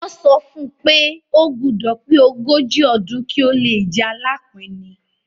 Wọ́n sọ fún un pé ó gbúdọ̀ pé ogójì ọdún kí ó le jẹ Alápinni.